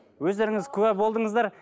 өздеріңыз куә болдыңыздар